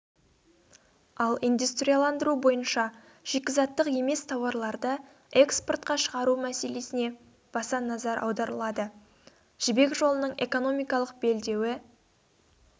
ал индустрияландыру бойынша шикізаттық емес тауарларды экспортқа шығару мәселесіне баса назар аударылады жібек жолының экономикалық белдеуі